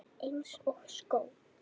Eins og skó.